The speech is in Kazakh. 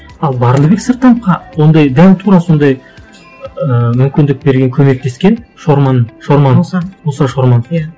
ал барлыбек сырттановқа ондай дәл тура сондай ыыы мүмкіндік берген көмектескен шорман шорман мұса мұса шорман иә